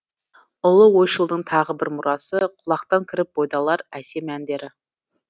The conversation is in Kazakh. ұлы ойшылдың тағы бір мұрасы құлақтан кіріп бойды алар әсем әндері